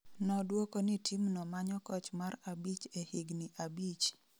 Noduoko ni team no manyo koch mar abich e higni abich